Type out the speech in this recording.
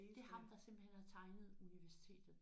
Det er ham der simpelthen har tegnet universitetet?